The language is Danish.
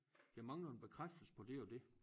Jeg mangler en bekræftelse på det og det